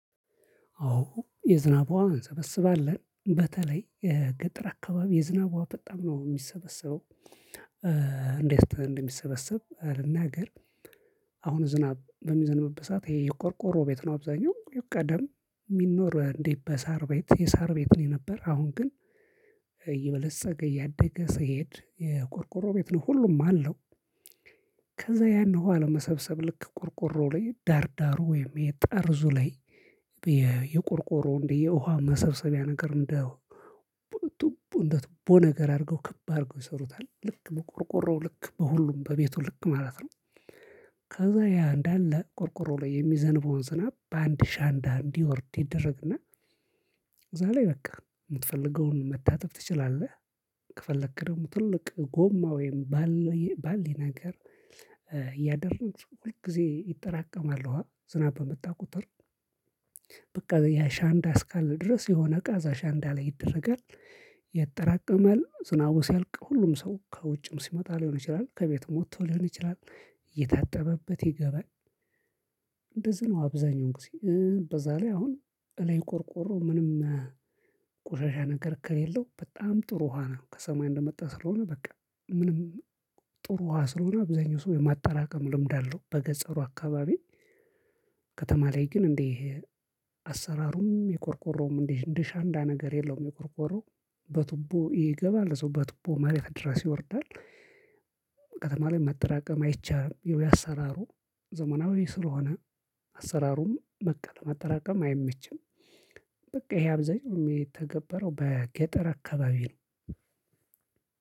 አዎ የዝናብ ውሃን እንሰበስባለን በተለይ የገጠር አካባቢ የዝናብ ውሃ በጣም ነው የሚሰበሰበው። እንዴት እንደሚሰበሰብ ልናገር። አሁን ዝናብ በሚዘንብበት ሰዓት ሰዓት ይሄ የቆርቆሮ ቤት ነው አብዛኛው ቀደም ሚኖር እንዴ በሳር ቤት የሳር ቤት ነው የነበር አሁን ግን እየበለፀገ እያደገ ስሄድ የቆርቆሮ ቤት ነው ሁሉም አለው። ከዛ ያን ውሃ ለመሰብሰብ ልክ ቆርቆሮ ላይ ዳር ዳሩ ወይም የጠርዙ ላይ የቆርቆሮ እንደ የውሃ መሰብሰቢያ ነገር እንደ ትቡን እንደ ትቦ ነገር አድርገው ክብ አድርገው ይሰሩታል ልክ በቆርቆሮው ልክ በሁሉም በቤቱ ልክ ማለት ነው። ከዛ ያ እንዳለ ቆርቆሮው ላይ የሚዘንበውን ዝናብ በአንድ ሻንዳ እንዲወርድ ይደረግና እዛ ላይ በቃ የምትፈልገውን መታጠብ ትችላለህ። ከፈለክ ደግሞ ትልቅ ጎማ ወይም ባል ባልዲ ነገር እያደረግን ሁል ጊዜ ይጠራቀማል። ውሃ ዝናብ በመጣ ቁጥር በቃ ያ ሻንዳ እስካለ ድረስ የሆነ እቃ እዛ ሻንዳ እንዳለ ይደረጋል። ያጠራቀማል ዝናቡ ሲያልቅ ሁሉም ሰው ከውጭም ሲመጣ ሊሆን ይችላል ከቤትም ወጥቶ ሊሆን ይችላል የታጠበበት ይገባል። ነው አብዛኛው ጊዜ እ በዛ ላይ አሁን እላይ ቆርቆሮ ምንም ቆሻሻ ነገር ከሌለው በጣም ጥሩ ውሃ ነው ከሰማይ እንደመጣ ስለሆነ በቃ ምንም ጥሩ ውሃ ስለሆነ አብዛኛው ሰው የማጠራቀም ልምድ አለው በገጸሩ አካባቢ። ከተማ ላይ ግን እንዴ አሰራሩም የቆርቆሮም እንዲህ እንደ ሻንዳ ነገር የለውም። የቆርቆሮ በቱቦ ይገባል እዛው በቱቦ መሬት ድረስ ይወርዳል። ከተማ ላይ መጠራቀም አይቻም ያው አሰራሩ ዘመናዊ ስለሆነ አሰራሩም በቃ ለማጠራቀም አይመችም። በቃ ይሄ አብዛኛው ሚተገበረው በገጠር አካባቢ ነው።